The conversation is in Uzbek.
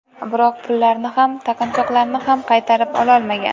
Biroq pullarni ham, taqinchoqlarni ham qaytarib ololmagan.